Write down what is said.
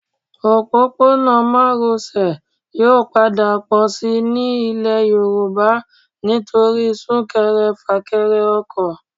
Òpópónà Márosẹ̀ yóò padà pọ̀ síi ní ilẹ̀ Yorùbá nítorí súnkẹrẹ fàkẹrẹ ọkọ̀